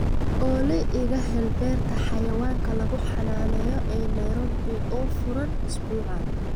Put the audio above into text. olly iga hel beerta xayawaanka lagu xanaaneeyo ee nairobi oo furan usbuucan